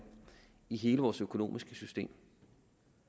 i hele vores økonomiske system